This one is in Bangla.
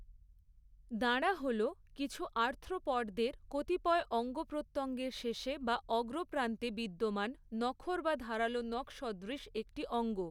দাঁড়া হলো, কিছু আর্থ্রোপডদের কতিপয় অঙ্গ প্রত্যঙ্গের শেষে বা অগ্রপ্রান্তে, বিদ্যমান নখর বা ধারালো নখসদৃশ একটি অঙ্গ।